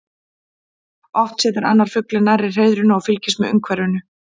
Oft situr annar fuglinn nærri hreiðrinu og fylgist með umhverfinu.